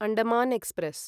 Andaman express